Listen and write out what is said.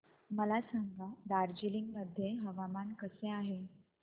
मला सांगा दार्जिलिंग मध्ये हवामान कसे आहे